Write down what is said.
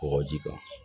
Kɔgɔji kan